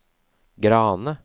Grane